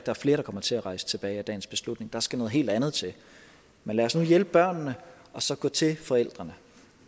er flere der kommer til at rejse tilbage af dagens beslutning der skal noget helt andet til men lad os nu hjælpe børnene og så gå til forældrene